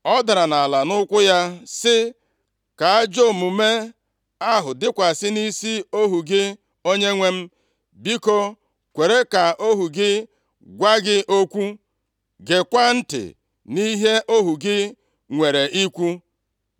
Ọ dara nʼala nʼụkwụ ya, sị, “Ka ajọ omume ahụ dịkwasị nʼisi + 25:24 Gbaghara ịta ụta maọbụ ajọ omume nke ohu gị ohu gị, onyenwe m. Biko, kwere ka ohu gị gwa gị okwu, gekwaa ntị nʼihe ohu gị nwere ikwu.